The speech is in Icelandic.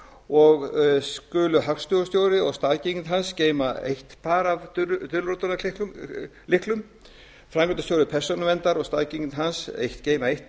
og skulu hagstofustjóri og staðgengill hans geyma eitt par af dulritunarlyklum framkvæmdastjóri persónuverndar og staðgengill hans geyma eitt